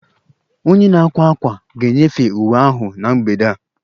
Onye na-akwa ákwà ga-enyefee uwe ahụ na mgbede a